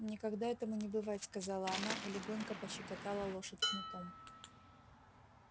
никогда этому не бывать сказала она и легонько пощекотала лошадь кнутом